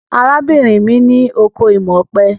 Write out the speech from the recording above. Arábìnrin mi ní oko imọ̀ ọ̀pẹ.